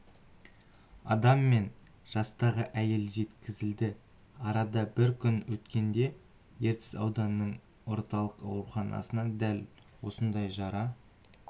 адам мен жастағы әйел жеткізілді арада бір күн өткенде ертіс ауданының орталық ауруханасына дәл осындай жара